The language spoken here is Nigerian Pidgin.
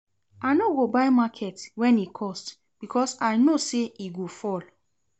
I no go buy market wen e cost because I know sey e go fall.